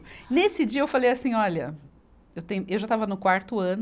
Nesse dia eu falei assim, olha, eu tenho, eu já estava no quarto ano,